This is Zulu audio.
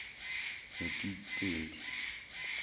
notitendi